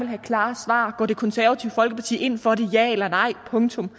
have klare svar går det konservative folkeparti ind for det ja eller nej punktum